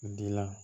Dilan